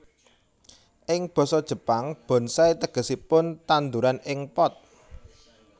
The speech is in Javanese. Ing basa Jepang bonsai tegesipun tandhuran ing pot